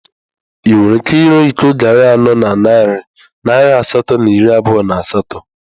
Ị nwere ike ire iko garri anọ na narị naira asatọ na iri abụọ na asatọ?